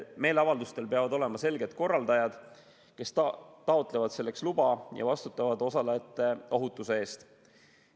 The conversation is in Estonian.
Meeleavaldustel peavad olema selged korraldajad, kes taotlevad selleks luba ja vastutavad osalejate ohutuse eest.